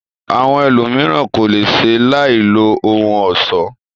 Àwọn ẹlòmíràn ko le ṣe láì lo ohun ọ̀ṣọ.